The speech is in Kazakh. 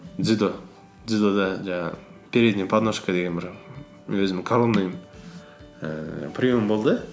дзюдо дзюдода жаңағы передний подножка деген бір өзімнің ііі прием болды